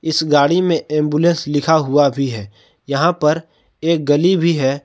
इस गाड़ी में एंबुलेंस लिखा हुआ भी है यहां पर एक गली भी है।